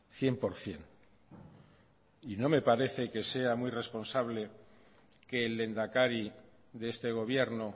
cien por ciento y no me parece que sea muy responsable que el lehendakari de este gobierno